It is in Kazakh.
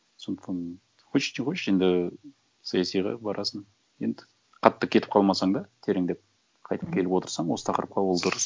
сондықтан почти қойшы енді саясиға барасың енді қатты кетіп қалмасаң да тереңдеп қайтып келіп отырсаң осы тақырыпқа ол дұрыс